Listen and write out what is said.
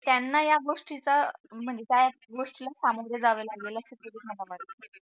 त्यांना या गोष्टीचा म्हणजे त्या गोष्टीच्या सामोरे जावे लागेल